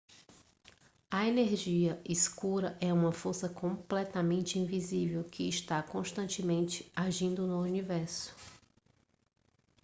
a energia escura é uma força completamente invisível que está constantemente agindo no universo